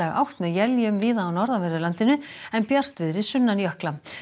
átt með éljum víða á norðanverðu landinu en bjartviðri sunnan jökla